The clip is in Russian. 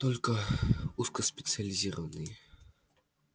только узкоспециализированные